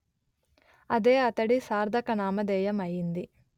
అదే అతడి సార్ధక నామధేయం అయింది